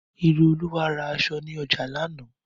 Ireolúwa ra aṣọ ni oja laana